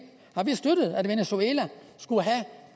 har vi støttet at venezuela skulle have